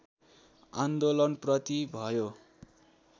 आन्दोलनप्रति भयो